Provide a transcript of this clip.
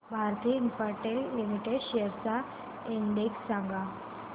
Bharti Infratel limited shares चा index सांगा